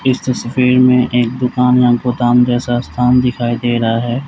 इस तस्वीर मे एक दुकान या गोदाम जैसा स्थान दिखाई दे रहा है।